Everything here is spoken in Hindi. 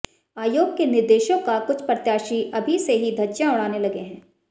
आयोग के निर्देशों का कुछ प्रत्याशी अभी से ही धज्जियां उड़ाने लगे हैं